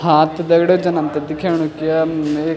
हाँ त दगड़ियों जन हमथे दिखेणु की यम एक।